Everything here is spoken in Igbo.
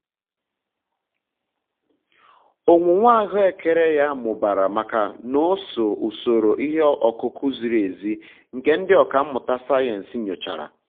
owuwe ahụekere ya mụbara maka n'oso usoro ihe ọkụkụ ziri ezi nke ndị ọkà mmụta sayensị nyochara